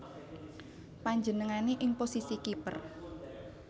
Panjenengané ing posisi kiper